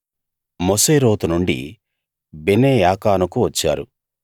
మొసేరోతు నుండి బెనేయాకానుకు వచ్చారు